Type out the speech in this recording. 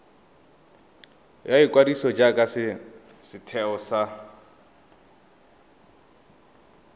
ya ikwadiso jaaka setheo sa